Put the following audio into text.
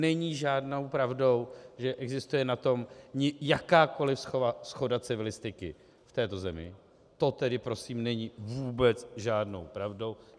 Není žádnou pravdou, že existuje na tom jakákoli shoda civilistiky v této zemí, to tedy prosím není vůbec žádnou pravdou.